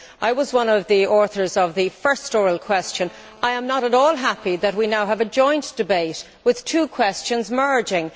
I was one of the authors of the first oral question. I am not at all happy that we now have a joint debate with two questions merging.